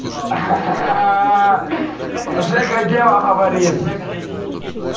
жека дело говорит